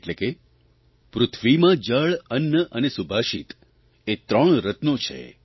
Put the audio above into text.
એટલે કે પૃથ્વીમાં જળ અન્ન અને સુભાષિત એ ત્રણ રત્નો છે